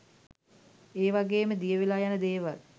ඒ වගේම දියවෙලා යන දේවල්